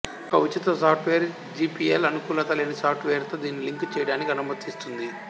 ఒక ఉచిత సాఫ్టువేర్ జిపియల్అనుకూలత లేని సాఫ్టువేరుతో దీన్ని లింక్ చేయడానికి అనుమతిస్తుంది